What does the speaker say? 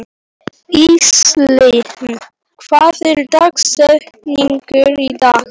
Íselín, hver er dagsetningin í dag?